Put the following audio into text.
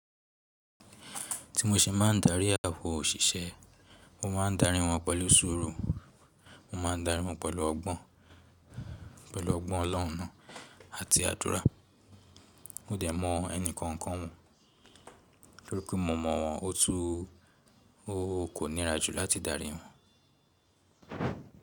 Ti mo se maa ń darí àwọn òṣìṣẹ́, mo máa ń darí wọ́n pẹ̀lú ṣùurù, mo máa ń darí wọ́n pẹ̀lú ọgbọ́n, pẹ̀lú ọgbọ́n Ọlọ́run náà àti àdúrà. Mò dè mọ ẹnìkankan wọn, nítorí pé mo mọ̀ wọ́n, ó tún kó nira jù láti darí wọ́n.